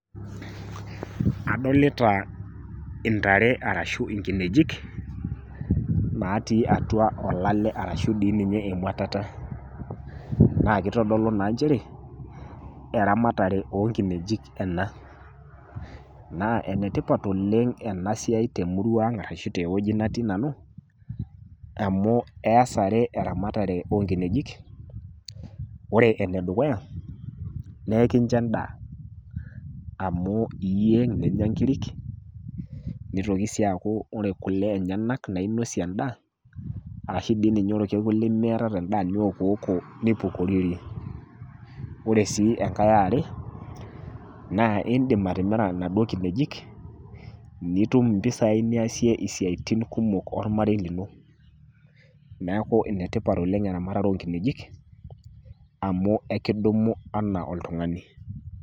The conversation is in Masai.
Adolita intare ashu inkinejik, natii atua olale ashu atua eng'watata. Naa keitodolu naa nchere eramatare oo nkinejik ena, naa ene tipat oleng' ena siai oleng' te emurua aang' ashu te wueji natii nanu, amu eas are eramatare oo nkinejik. Ore ene dukuya, ekinjo endaa amu iyieng' ninya inkirik, neitoki sii aaku ore kule naa inak ninosie endaa arashu dei ninye ore olkekun limiatata endaa niokioko nipukorierie. Ore sii enkai e are naa indim atimira naduo kinejik, nitum impisai kumok niasie isiaitin kumok olmarei lino, neaku ene tipat oleng' eramatare oo nkinejik amu ekidumu anaa oltung'ani.